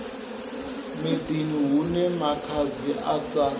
miḓini hune makhadzi a sa